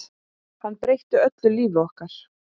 Hann breytir öllu lífi okkar.